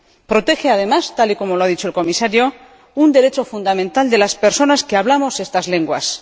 Protege, además, tal y como lo ha dicho el Comisario, un derecho fundamental de las personas que hablamos estas lenguas.